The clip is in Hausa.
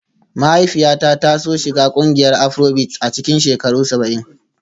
Mahaifiyata ta so shiga ƙungiyar Afrobeat a cikin shekarun saba'in